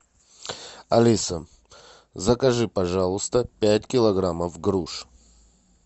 алиса закажи пожалуйста пять килограммов груш